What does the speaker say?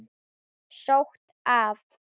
Sótt af